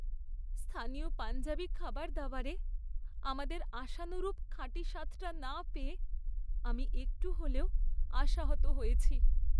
স্থানীয় পাঞ্জাবী খাবারদাবারে আমাদের আশানুরূপ খাঁটি স্বাদটা না পেয়ে আমি একটু হলেও আশাহত হয়েছি।